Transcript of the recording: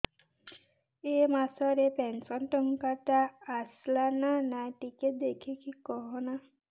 ଏ ମାସ ରେ ପେନସନ ଟଙ୍କା ଟା ଆସଲା ନା ନାଇଁ ଟିକେ ଦେଖିକି କହନା